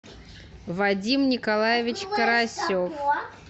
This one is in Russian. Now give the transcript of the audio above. вадим николаевич карасев